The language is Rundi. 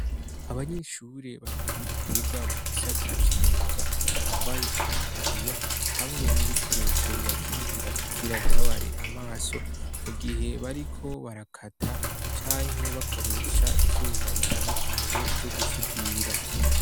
Abanyeshure babiri biga mu gisata c'imyuga bambaye amataburiya hamwe n'ibikoresho bibakingira kugira ntibabare amaso mu gihe bariko barakata canke bakoresha ivyuma bitandukanye vyo gusudira.